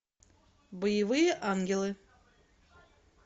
боевые ангелы